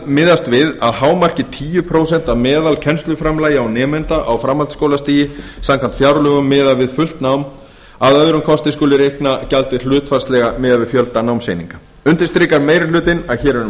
miðast við að hámarki tíu prósent af meðalkennsluframlagi á nemanda á framhaldsskólastigi samkvæmt fjárlögum miðað við fullt nám að öðrum kosti skuli reikna gjaldið hlutfallslega miðað við fjölda námseininga undirstrikar meiri hlutinn að hér er um